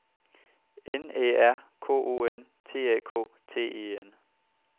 N Æ R K O N T A K T E N